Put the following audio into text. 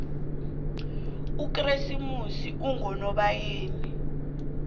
ukresimoxi ungonobayeni